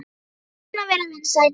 Það er svona að vera vinsæll!